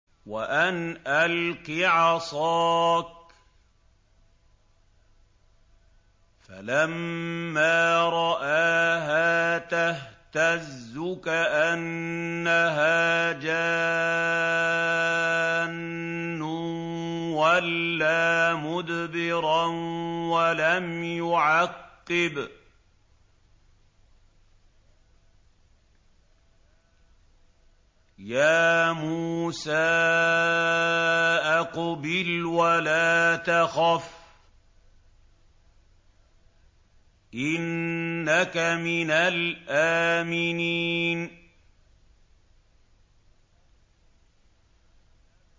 وَأَنْ أَلْقِ عَصَاكَ ۖ فَلَمَّا رَآهَا تَهْتَزُّ كَأَنَّهَا جَانٌّ وَلَّىٰ مُدْبِرًا وَلَمْ يُعَقِّبْ ۚ يَا مُوسَىٰ أَقْبِلْ وَلَا تَخَفْ ۖ إِنَّكَ مِنَ الْآمِنِينَ